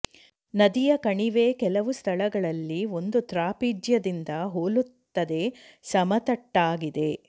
ನದಿಯ ಕಣಿವೆ ಕೆಲವು ಸ್ಥಳಗಳಲ್ಲಿ ಒಂದು ತ್ರಾಪಿಜ್ಯದಿಂದ ಹೋಲುತ್ತದೆ ಸಮತಟ್ಟಾಗಿದೆ